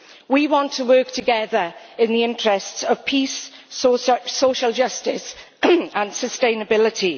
We want to work together in the interests of peace, social justice and sustainability.